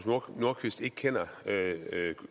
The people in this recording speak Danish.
sag